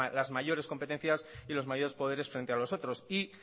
las mayores competencias y los mayores poderes frente a los otros y